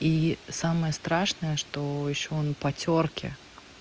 и самое страшное что ещё он по тёрки